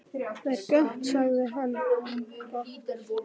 Það er gott sagði hann, gott